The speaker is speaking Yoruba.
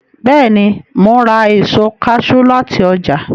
Bẹ́ẹ̀ni, mo ns ra èso kaṣú láti ọjà